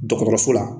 Dɔgɔtɔrɔso la